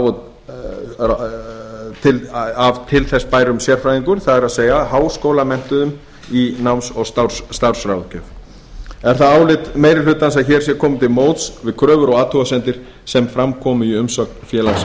og starfsráðgjafar af til þess bærum sérfræðingum það er háskólamenntuðum í náms og starfsráðgjöf er það álit meiri hlutans að hér sé komið til móts við kröfur og athugasemdir sem fram komu í umsögn félags